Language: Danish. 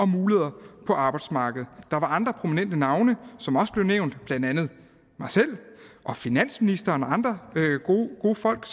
muligheder på arbejdsmarkedet der var andre prominente navne som også blev nævnt blandt andet mig selv og finansministeren og andre gode folk